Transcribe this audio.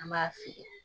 An b'a fili